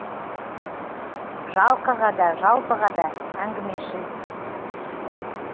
жалқыға да жалпыға да әңгімешіл